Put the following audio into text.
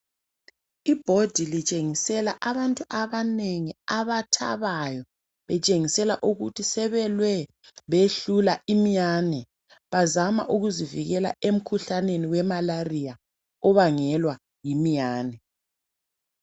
Ibhodi litshengisela abantu abanengi abathabayo, litshengisela ukuthi sebelwe behlula iminyane .Bazama ukuzivikela emikhuhlaneni we"Malaria" obangelwa yiminyane.